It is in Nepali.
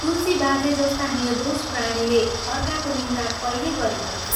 तुलसी बाजे जस्ता निर्दोष प्राणीले अर्काको निन्दा कैले गरिहिंड्थे।